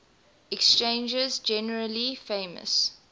exchanges generally famous